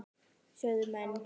sögðu menn.